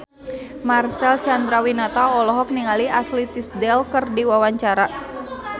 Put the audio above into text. Marcel Chandrawinata olohok ningali Ashley Tisdale keur diwawancara